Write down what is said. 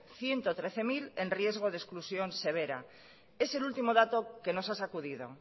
ciento trece mil en riesgo de exclusión severa es el último dato que nos ha sacudido